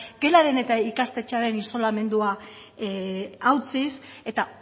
gelaren eta ikastetxearen isolamendua hautsiz eta